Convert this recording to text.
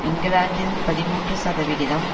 இங்கிலாந்தில் பதிமூன்று சதவிகிதம்